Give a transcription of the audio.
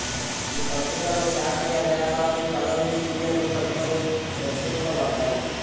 ఈ పత్రికలో శాస్త్రీయ వ్యాసాలు కథలు సీరియళ్లు కవితలు ప్రచురింపబడ్డాయి